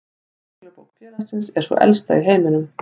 Reglubók félagsins er sú elsta í heiminum.